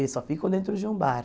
Eles só ficam dentro de um bar.